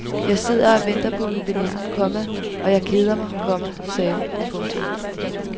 Jeg sidder og venter på min veninde, komma og jeg keder mig, komma sagde hun. punktum